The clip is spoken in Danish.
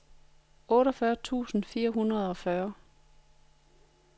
otteogfyrre tusind fire hundrede og fyrre